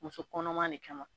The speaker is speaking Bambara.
Muso kɔnɔma de kama